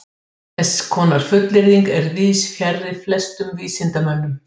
Hann frjóvgar þau síðan með því að dæla svilum í sekkinn.